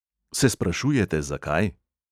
Se sprašujete, zakaj?